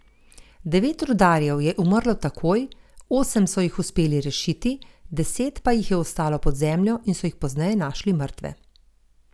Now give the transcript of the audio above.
Devet rudarjev je umrlo takoj, osem so jih uspeli rešiti, deset pa jih je ostalo pod zemljo in so jih pozneje našli mrtve.